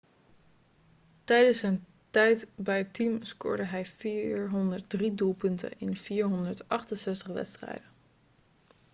tijdens zijn tijd bij het team scoorde hij 403 doelpunten in 468 wedstrijden